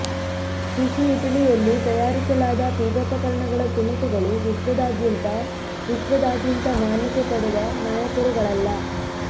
ಬಿಸಿ ಇಟಲಿಯಲ್ಲಿ ತಯಾರಿಸಲಾದ ಪೀಠೋಪಕರಣಗಳ ತುಣುಕುಗಳು ವಿಶ್ವದಾದ್ಯಂತ ವಿಶ್ವದಾದ್ಯಂತ ಮಾನ್ಯತೆ ಪಡೆದ ನಾಯಕರುಗಳಲ್ಲ